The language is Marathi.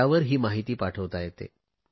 त्यावर ही माहिती पाठवता येते